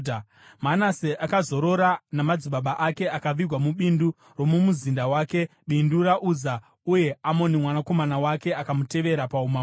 Manase akazorora namadzibaba ake akavigwa mubindu romumuzinda wake, bindu raUza. Uye Amoni mwanakomana wake akamutevera paumambo.